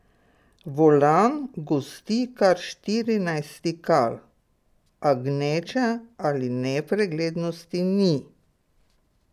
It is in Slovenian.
Volan gosti kar štirinajst stikal, a gneče ali nepreglednosti ni.